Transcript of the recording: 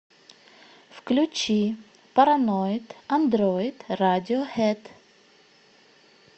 включи параноид андроид радиохэд